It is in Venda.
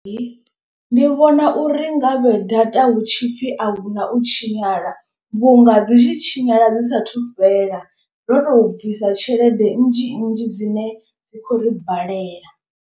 Ndi vhona uri nga vhe data hutshipfi ahuna u tshinyala vhunga dzi tshi tshinyala dzi sathu fhela. Ndo to bvisa tshelede nnzhi nnzhi dzine dzi khou ri balela.